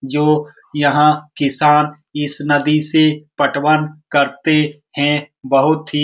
जो यहाँ किसान इस नदी से पटवन करते हैं बहुत ही --